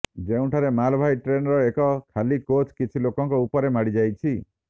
ଯେଉଁଠାରେ ମାଲବାହୀ ଟ୍ରେନର ଏକ ଖାଲି କୋଚ୍ କିଛି ଲୋକଙ୍କ ଉପରେ ମାଡିଯାଇଛି